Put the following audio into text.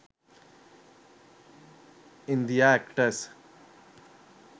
india actress